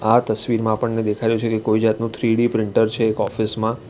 આ તસવીરમાં આપણને દેખાઈ રહ્યું છે કે કોઈ જાતનું થ્રીડી પ્રિન્ટર છે ઓફિસ માં.